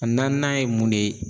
A naaninan ye mun de ye